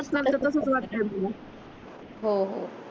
हो हो